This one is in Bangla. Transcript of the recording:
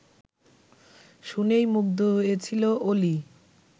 শুনেই মুগ্ধ হয়েছিল অলি